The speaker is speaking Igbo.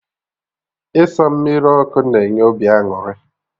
Ịsa mmiri ọkụ na enye obi aṅụrị